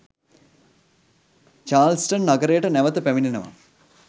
Charleston නගරයට නැවත පැමිණෙනවා.